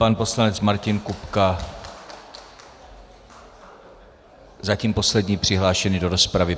Pan poslanec Martin Kupka, zatím poslední přihlášený do rozpravy.